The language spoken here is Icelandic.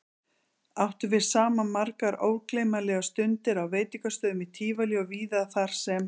Áttum við saman margar ógleymanlegar stundir á veitingastöðum í Tívolí og víðar þarsem